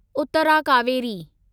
Uttara Kaveri